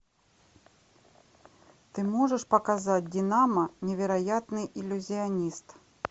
ты можешь показать динамо невероятный иллюзионист